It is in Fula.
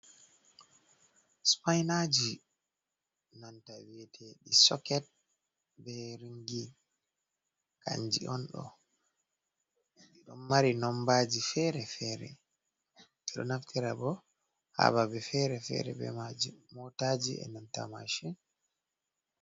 Spainaji nanta, wi'ete ɗi soket be ringi kanji onɗo ɗidon mari nombaji fere-fere, ɗiɗoo naftira bo hababe fere-fere be maji, motaji e nanta mashin.